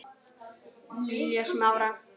Lilja Smára.